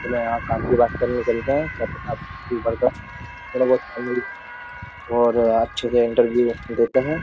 चलो यहां काम की बात करने चलते हैं क्या पता थोड़ा बहुत काम और अच्छे से इंटरव्यू देते हैं।